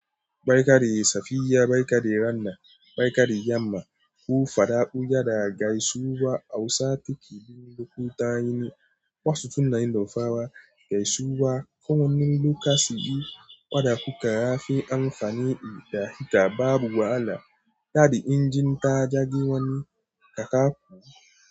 Baikadi safiya, Baikadi ranna, Baikadi yamma ko Fadaku yana gaisuwar Hausa cikin lokutan yini. Wasu tunanin dafawa gaisuwa kawai lokacin da suke faɗaku, ga yafi amfani da ita babu wahala. Yadda injin ta ja giwanin, ka karɓo.